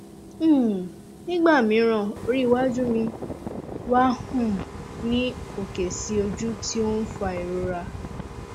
um nígbà mìíràn orí iwájú mi wà um ní òkè sí ojú tí ó ń fa ìrora